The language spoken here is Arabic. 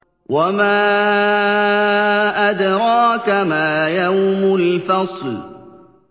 وَمَا أَدْرَاكَ مَا يَوْمُ الْفَصْلِ